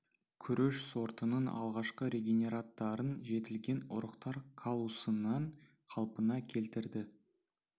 күріш сортының алғашқы регенераттарын жетілген ұрықтар каллусынан қалпына келтірді